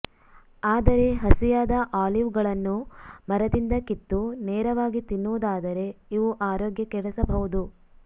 ಆದರೆ ಹಸಿಯಾದ ಆಲಿವ್ ಗಳನ್ನು ಮರದಿಂದ ಕಿತ್ತು ನೇರವಾಗಿ ತಿನ್ನುವುದಾದರೆ ಇವು ಆರೋಗ್ಯ ಕೆಡಿಸಬಹುದು